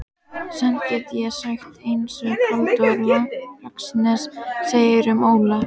Samt get ég sagt einsog Halldór Laxness segir um Ólaf